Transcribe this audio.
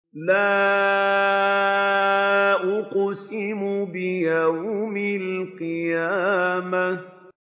لَا أُقْسِمُ بِيَوْمِ الْقِيَامَةِ